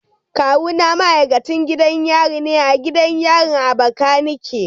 Kawuna ma'aikacin gidan yari ne a gidan yarin Abakaleki.